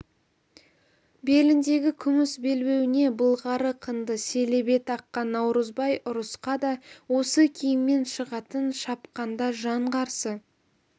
беліндегі күміс белбеуіне былғары қынды селебе таққан наурызбай ұрысқа да осы киімімен шығатын шапқанда жан қарсы